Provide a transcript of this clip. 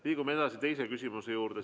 Liigume edasi teise küsimuse juurde.